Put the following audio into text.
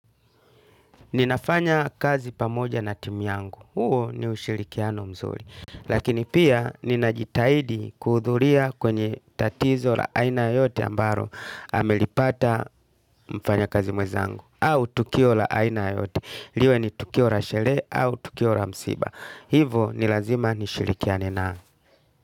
Ninafanya kazi pamoja na timu yangu, huo ni ushirikiano mzuri. Lakini pia ninajitahidi kuhudhuria kwenye tatizo la aina yote ambalo amelipata mfanya kazi mwenzangu. Au tukio la aina yoyote, liwe ni tukio la sherehe au tukio la msiba. Hivo ni lazima nishirikiane na.